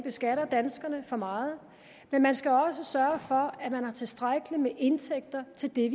beskatter danskerne for meget men man skal også sørge for at man har tilstrækkeligt med indtægter til det